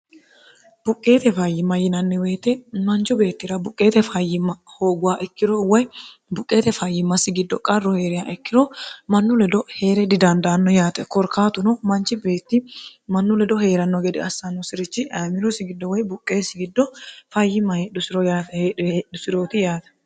buqqeete fayyimma yinanni woyite mancu beettira buqqeete fayyimma hooguwa ikkiro woy buqqeete fayyimmassi giddo qarru hee'reya ikkiro mannu ledo hee're didandaanno yaate korkaatuno manchi beetti mannu ledo hee'ranno gede assaannosi'richi ayimirosi giddo woy buqqeessi giddo fayyima heedhusirooti yaate